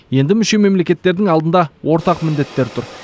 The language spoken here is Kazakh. енді мүше мемлекеттердің алдында ортақ міндеттер тұр